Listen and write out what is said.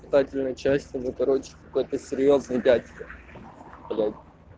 кстати начальство это короче это какой-то серьёзный дядька блять